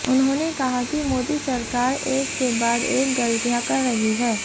उन्होंने कहा कि मोदी सरकार एक के बाद एक गलतियां कर रही है